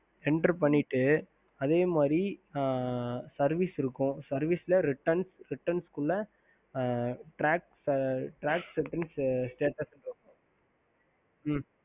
ஹம்